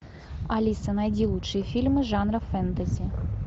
алиса найди лучшие фильмы жанра фэнтези